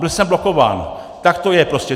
Byl jsem blokován, tak to je prostě.